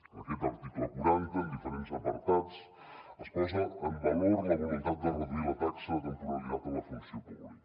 en aquest article quaranta en diferents apartats es posa en valor la voluntat de reduir la taxa de temporalitat a la funció pública